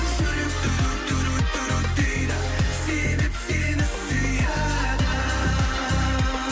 жүрек дейді себеп сені сүйеді